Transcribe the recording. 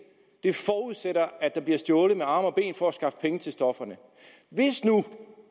det forudsætter at der bliver stjålet med arme og ben for at skaffe penge til stoffer hvis nu